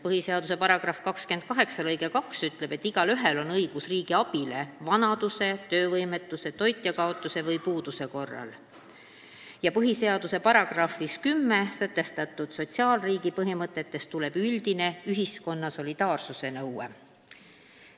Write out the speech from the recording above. Põhiseaduse § 28 lõige 2 ütleb, et igaühel on õigus riigi abile vanaduse, töövõimetuse, toitjakaotuse või puuduse korral, ning põhiseaduse §-s 10 sätestatud sotsiaalriigi põhimõtetest tuleneb üldine ühiskonna solidaarsuse nõue.